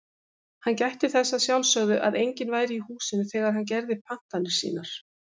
Hann gætti þess að sjálfsögðu að enginn væri í húsinu þegar hann gerði pantanir sínar.